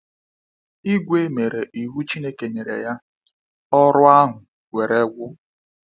ìgwè mere iwu Chineke nyere ya, ọrụ ahụ were gwụ.